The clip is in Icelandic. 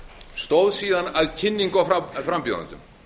stóð síðan að kynningu á frambjóðendum